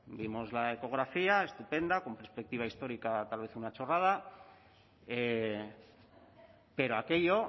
vimos la ecografía estupenda con perspectiva histórica tal vez una chorrada pero aquello